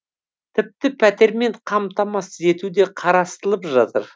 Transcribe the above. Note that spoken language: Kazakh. тіпті пәтермен қамтамасыз ету де қарастылып жатыр